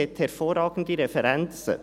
Er hat hervorragende Referenzen.